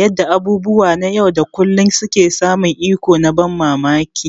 yanda abubuwa na yau da kullun suke samun iko na ban mamaki.